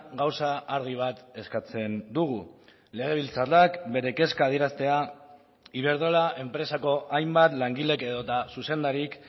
gauza argi bat eskatzen dugu legebiltzarrak bere kezka adieraztea iberdrola enpresako hainbat langilek edota zuzendarik